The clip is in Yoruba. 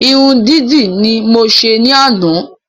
Irun dídì ni mo se ní àná